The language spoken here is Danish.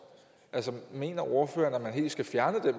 altså mener ordføreren at man helt skal fjerne